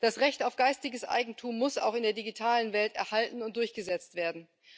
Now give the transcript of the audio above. Das Recht auf geistiges Eigentum muss auch in der digitalen Welt erhalten und durchgesetzt werden.